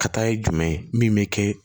Ka taa ye jumɛn ye min bɛ kɛ